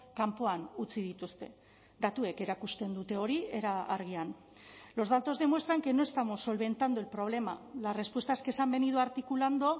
kanpoan utzi dituzte datuek erakusten dute hori era argian los datos demuestran que no estamos solventando el problema las respuestas que se han venido articulando